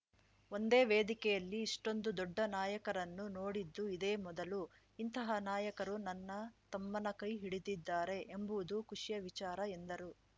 ಒಂದೇ ವೇದಿಕೆಯಲ್ಲಿ ಇಷ್ಟೊಂದು ದೊಡ್ಡ ನಾಯಕರನ್ನು ನೋಡಿದ್ದು ಇದೇ ಮೊದಲು ಇಂತಹ ನಾಯಕರು ನನ್ನ ತಮ್ಮನ ಕೈ ಹಿಡಿದಿದ್ದಾರೆ ಎಂಬುವುದು ಖುಷಿಯ ವಿಚಾರ ಎಂದರು